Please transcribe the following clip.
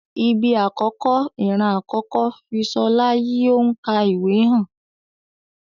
Ibi akọkọ, iran akọkọ fi Ṣọla yi o n ka ìwé hàn.